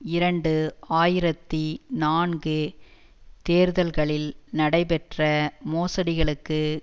இரண்டு ஆயிரத்தி நான்கு தேர்தல்களில் நடைபெற்ற மோசடிகளுக்கு